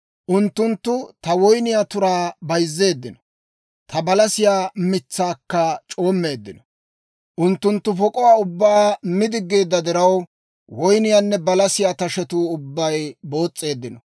Unttunttu ta woyniyaa turaa bayzzeeddino; ta balasiyaa mitsaakka c'oommeeddino. Unttunttu pok'uwaa ubbaa mi diggeedda diraw, woyniyaanne balasiyaa tashetuu ubbay boos's'eeddino.